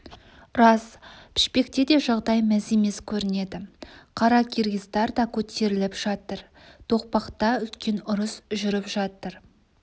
рас пішпекте де жағдай мәз емес көрінеді қаракиргиздар да көтеріліп жатыр тоқпақта үлкен ұрыс жүріп жатыр